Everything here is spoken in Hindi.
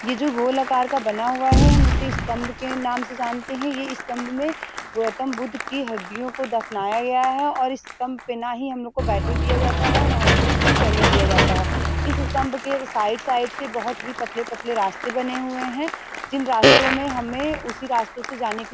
ये जो गोल आकर का बना हुआ है हम इसे स्तम्भ के नाम से जानते हैं। ये स्तम्भ में गौत्तम बुद्ध के हड्डियों को दफनाया गया है और इस स्तम्भ पर ना ही हम लोग को बैठेने दिया जाता है ना ही इस पर चढ़ने दिया जाता है। इस स्तम्भ के साइड साइड से बहोत ही पतले-पतले रास्ते बने हुए हैं जिन रास्तो में हमें उसी रास्तो से जाने की --